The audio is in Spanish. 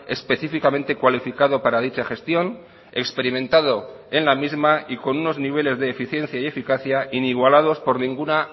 específicamente cualificado para dicha gestión experimentado en la misma y con unos niveles de eficiencia y eficacia inigualados por ninguna